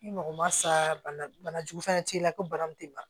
Ni mɔgɔ ma sa bana bana jugu fɛnɛ t'i la ko bana m'i ban